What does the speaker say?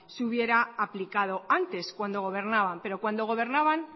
se hubiera aplicado antes cuando gobernaban pero cuando gobernaban